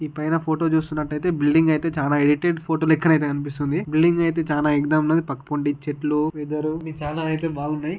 ఈ పైన ఫోటో చూస్తున్నట్టయితే బిల్డింగ్ అయితే చాలా ఎడిటెడ్ ఫోటో లెక్కనైతే కనిపిస్తుంది బిల్డింగ్ అయితే చానా అయితే ఎగ్ దమ్ ఉన్నది పక్కనుండే చెట్లు వెదరు ఇది చాలా అయితే బాగున్నాయి.